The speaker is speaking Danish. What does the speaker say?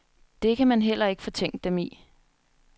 Det kan man heller ikke fortænke dem i.